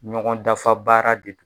Ɲɔgɔn dafa baara de dɔ.